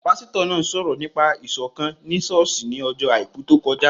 Pásítọ̀ náà sọ̀rọ̀ nípa Ìṣọ̀kán ni ṣọ́ọ̀ṣì ní ọjọ́ àìkú tó kọjá